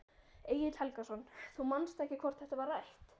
Egill Helgason: Þú manst ekki hvort þetta var rætt?